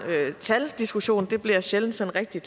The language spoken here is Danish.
taldiskussion det bliver sjældent sådan rigtig